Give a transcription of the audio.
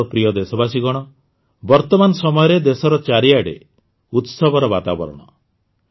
ମୋର ପ୍ରିୟ ଦେଶବାସୀଗଣ ବର୍ତ୍ତମାନ ସମୟରେ ଦେଶର ଚାରିଆଡ଼େ ଉତ୍ସବର ବାତାବରଣ